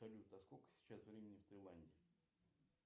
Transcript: салют а сколько сейчас времени в тайланде